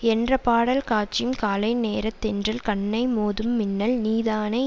என்ற பாடல் காட்சியும் காலை நேரத்தென்றல் கண்ணை மோதும் மின்னல் நீதானே